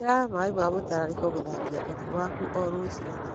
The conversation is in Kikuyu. Hũthĩra maĩ ma mũtararĩko gũthambia ũthiũ waku o rũcinĩ.